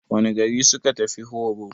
Wane gari suka tafi horo?